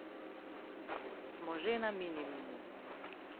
Smo že na minimumu.